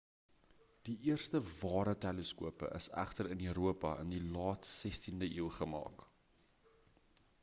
die eerste ware teleskope is egter in europa in die laat 16de eeu gemaak